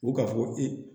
U ka fɔ ko